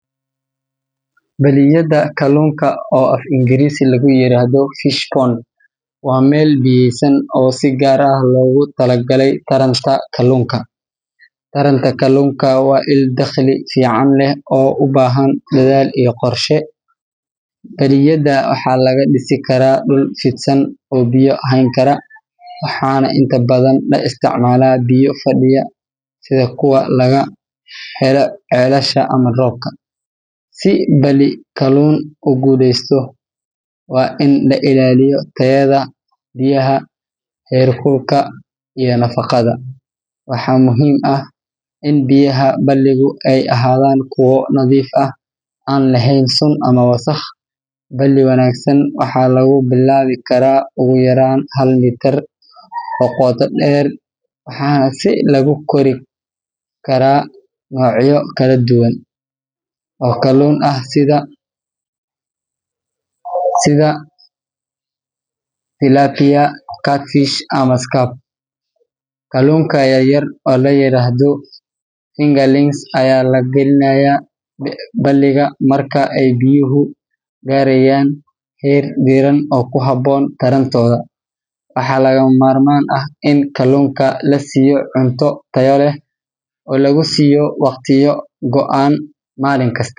Balliyada kalluunka, oo af-Ingiriisiga lagu yiraahdo fish pond, waa meel biyaysan oo si gaar ah loogu talagalay taranta kalluunka. Taranta kalluunka waa il dakhli fiican leh oo u baahan dadaal iyo qorshe. Balliyada waxaa laga dhisi karaa dhul fidsan oo biyo hayn kara, waxaana inta badan la isticmaalaa biyo fadhiya sida kuwa laga helo ceelasha ama roobka. Si balli kalluun u guulaysto, waa in la ilaaliyo tayada biyaha, heer kulka, iyo nafaqada. Waxaa muhiim ah in biyaha balligu ay ahaadaan kuwo nadiif ah, aan lahayn sun ama wasakh. Balli wanaagsan waxaa lagu bilaabi karaa ugu yaraan hal mitir oo qoto dheer, waxaana lagu kori karaa noocyo kala duwan oo kalluun ah sida tilapia, catfish, ama carp. Kalluunka yaryar oo la yiraahdo fingerlings ayaa la gelinayaa balliga marka ay biyuhu gaarayaan heer diirran oo ku habboon tarantooda. Waxaa lagama maarmaan ah in kalluunka la siiyo cunto tayo leh, oo lagu siiyo waqtiyo go'an maalin kasta.